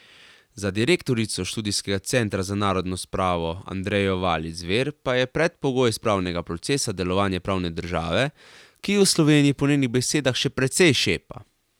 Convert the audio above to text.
Za direktorico Študijskega centra za narodno spravo Andrejo Valič Zver pa je predpogoj spravnega procesa delovanje pravne države, ki v Sloveniji po njenih besedah še precej šepa.